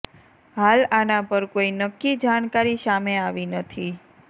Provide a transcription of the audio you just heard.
હાલ આના પર કોઈ નક્કી જાણકારી સામે આવી નથી